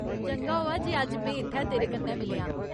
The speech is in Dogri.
चंगा होआ जे अज्ज में इत्थै तेरे कन्नै मिलेआं।